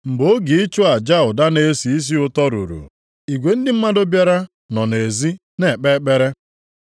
Mgbe oge ịchụ aja ụda na-esi isi ụtọ ruru, igwe ndị mmadụ bịara nọ nʼezi na-ekpe ekpere.